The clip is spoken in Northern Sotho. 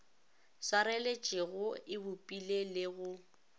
swareletšego e bopile le go